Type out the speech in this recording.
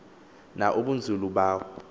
na ubunzulu bawo